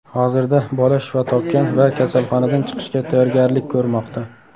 Hozirda bola shifo topgan va kasalxonadan chiqishga tayyorgarlik ko‘rmoqda.